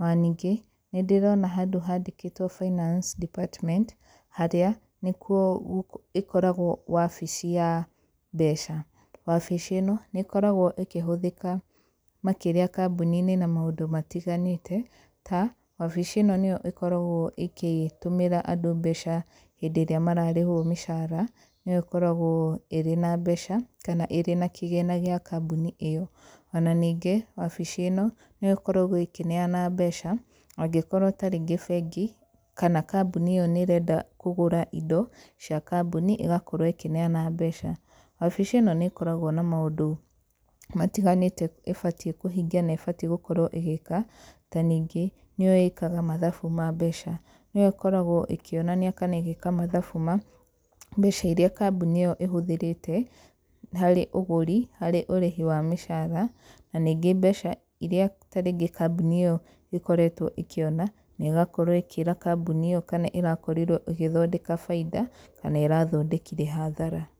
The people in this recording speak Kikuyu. Ona ningĩ, nĩ ndĩrona handũ handĩkĩtwo finance department, harĩa, nĩ kuo ĩkoragwo wabici ya mbeca. Wabici ĩno, nĩ ĩkoragwo ĩkĩhũthĩka makĩria kambuni-inĩ na maũndũ matiganĩte, ta, wabici ĩno nĩyo ĩkoragwo ĩkĩtũmĩra andũ mbeca hĩndĩ ĩrĩa mararĩhwo mĩcaara, nĩyo ĩkoragwo ĩrĩ na mbeca, kana ĩrĩ na kĩgĩna gĩa kambuni ĩyo. Ona ningĩ, wabici ĩno, nĩyo ĩkoragwo ĩkĩneana mbeca, angĩkorwo tarĩngĩ bengi, kana kambuni ĩyo nĩ ĩrenda kũgũra indo, cia kambuni, ĩgakorwo ĩkĩneana mbeca. Wabici ĩno nĩ ĩkoragwo na maũndũ matiganĩte ĩbatiĩ kũhingia na ĩbatiĩ gũkorwo ĩgĩka, ta ningĩ, nĩyo ĩkaga mathabu ma mbeca. Nĩyo ĩkoragwo ĩkĩonania kana ĩgeka mathabu ma, mbeca irĩa kambuni ĩyo ĩhũthĩrĩte, harĩ ũgũri, harĩ ũrĩhi wa mĩcaara, na rĩngĩ mbeca irĩa tarĩngĩ kambuni ĩyo ĩkoretwo ĩkĩona, na ĩgakorwo ĩkĩra kambuni ĩyo kana ĩrakorirwo ĩgĩthondeka baida, kana ĩrathondekire hathara.